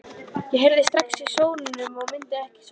Ég heyrði strax á sóninum að hún myndi ekki svara.